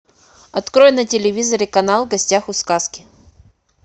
открой на телевизоре канал в гостях у сказки